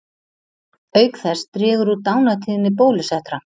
Auk þess dregur úr dánartíðni bólusettra.